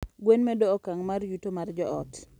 Gwen medo okang' mar yuto mar joot.